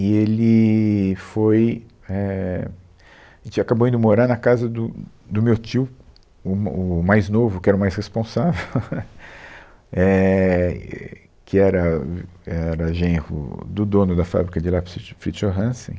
E ele foi... É, a gente acabou indo morar na casa do do meu tio, o ma o mais novo, que era o mais responsável, é, e que era o era genro do dono da fábrica de lápis Fri Fritz Johansen.